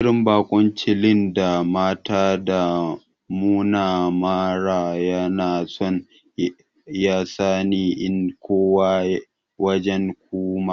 Irin bakunci lin da matan ta nuna mana Yana so yasani in koma wajen Kuma.